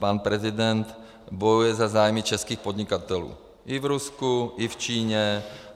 Pan prezident bojuje za zájmy českých podnikatelů i v Rusku, i v Číně.